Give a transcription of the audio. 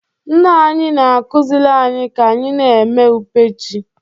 Nna anyị na-akụziri anyị ka anyị na-eme ube ji